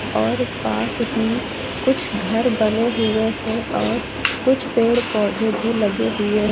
और पास ही कुछ घर बने हुए हैं और कुछ पेड़ पौधे भी लगे हुए है।